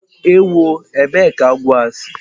Ewó! ébé kà agwọ a si!